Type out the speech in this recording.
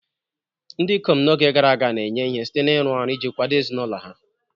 Ndị ikom n'oge gara aga na-enye ihe site n'ịrụ ọrụ iji kwado ezinụlọ ha..